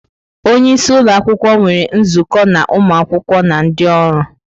Onye isi ụlọ akwụkwọ nwere nzukọ na ụmụ akwụkwọ na ndị ọrụ.